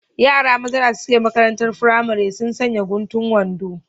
Yaran maza da suke maƙarantar firamare suna sanƴa guntun wanɗo